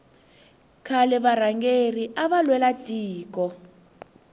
khale varhangeri ava lwela tiko